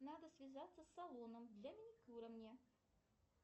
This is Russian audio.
надо связаться с салоном для маникюра мне